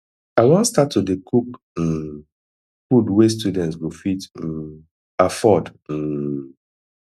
i wan start to dey cook um food wey students go fit um afford um